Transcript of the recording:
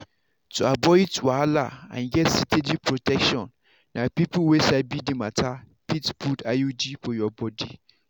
to avoid wahala and get steady protection na people wey sabi d matter fit put iud for your body.